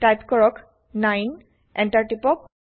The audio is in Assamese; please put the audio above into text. টাইপ কৰক 9 160 এন্টাৰ টিপক